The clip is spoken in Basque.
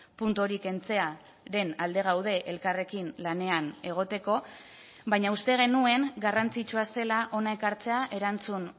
puntu hori kentzearen alde gaude elkarrekin lanean egoteko baina uste genuen garrantzitsua zela hona ekartzea erantzun